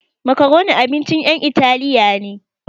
Macaroni abincin ƴan italiya ne